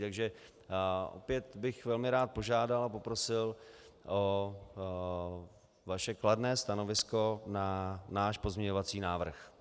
Takže opět bych velmi rád požádal a poprosil o vaše kladné stanovisko na náš pozměňovací návrh.